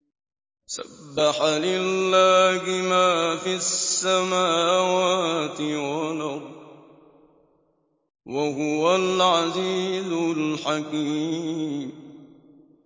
سَبَّحَ لِلَّهِ مَا فِي السَّمَاوَاتِ وَالْأَرْضِ ۖ وَهُوَ الْعَزِيزُ الْحَكِيمُ